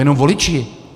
Jenom voliči.